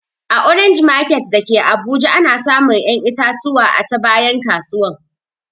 A orange market dake abuja ana samun ƴan itatuwa a ta bayan kasuwan